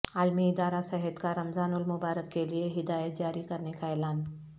عالمی ادارہ صحت کا رمضان المبارک کیلئے ہدایات جاری کرنے کا اعلان